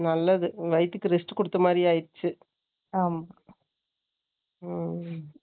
நல்லது. வயித்துக்கு, rest கொடுத்த மாதிரி ஆயிடுச்சு